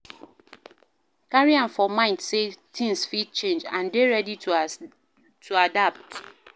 Carry am for mind sey things fit change and dey ready to adapt